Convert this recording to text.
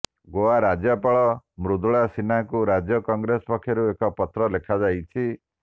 ଗୋଆ ରାଜ୍ୟପାଳ ମୃଦୁଳା ସିହ୍ନାଙ୍କୁ ରାଜ୍ୟ କଂଗ୍ରେସ ପକ୍ଷରୁ ଏକ ପତ୍ର ଲେଖାଯାଇଛି